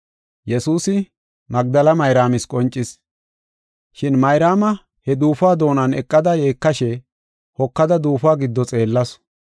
Shin Mayraama he duufuwa doonan eqada yeekashe hokada duufuwa giddo xeellasu.